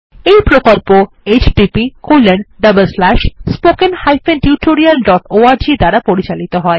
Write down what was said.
এই প্রকল্প httpspoken tutorialorg দ্বারা পরিচালিত হয়